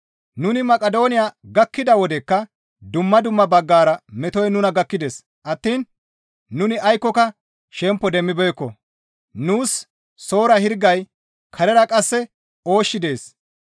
Nuni Maqidooniya gakkida wodekka dumma dumma baggara metoy nuna gakkides attiin nuni aykkoka shempo demmibeekko; nuus soora hirgay, karera qasse ooshshi dees.